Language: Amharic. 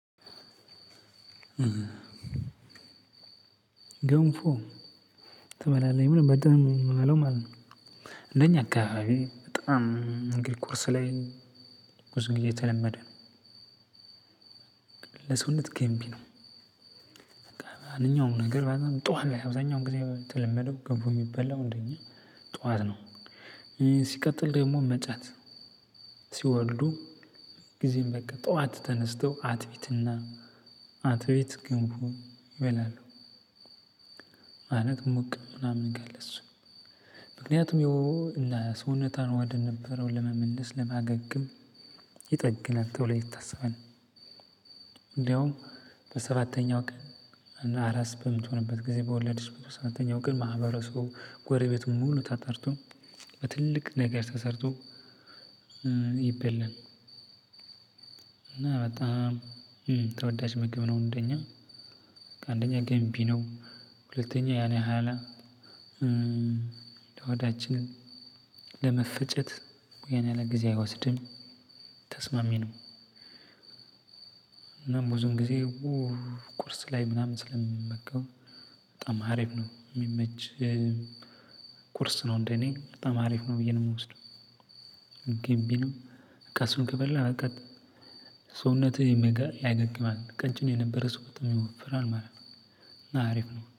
ገንፎ ትበላለህ የሚለው በጣም ነው የምበላው ማለት ነው። እንደኛ አካባቢ በጣም እንግዲህ ቁርስ ላይ ብዙ ጊዜ የተለመደ ነው። ለሰውነት ገንቢ ነው። አንደኛውም ነገር በጣም ጠዋት ላይ አብዛኛውን ጊዜ ተለመደው ገንፎ የሚበላው እንደኛ ጠዋት ነው። ሲቀጥል ደግሞ እመጫት ሲወልዱ ጊዜም በቃ ጠዋት ተነስተው አጥሚትና አትሚት ገንፎ ይበላሉ። ማለት ሞቅ ምናምን ካለ እሱ ምክንያቱም ያው ለሰውነቷን ወደ ነበረው ለመመለስ ለማገገም ይጠግናል ተብሎ ይታሰባል። እንደውም በሰባተኛው ቀን እና አራስ በምትሆንበት ጊዜ በወለደች በ ሰባተኛው ቀን ማህበረሰቡ ጎረቤት ሙሉ ተጠርቶ በትልቅ ነገር ተሰርቶ ይበላል። እና በጣም ተወዳጅ ምግብ ነው እንደኛ አንደኛ ገንቢ ነው። ሁለተኛ ያን ያህል ለሆዳችን ለመፈጨት ያን ያህል ጊዜ አይወስድም ተስማሚ ነው። እና ብዙውን ጊዜ ቁርስ ላይ ምናምን ስለምመገበው በጣም አሪፍ ነው የሚመች። ቁርስ ነው እንደኔ በጣም አሪፍ ነው ብዬ ነው የምወስደው። ገንቢ ነው። በቃ እሱን ከበላህ አልቀት ሰውነትህም ያገግማል ቀጭን የነበረ ሰው በጣም ይወፍራል ማለት ነው። እና አሪፍ ነው